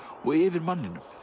og yfir manninum